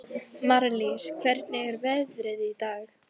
Marlís, hvernig er veðrið í dag?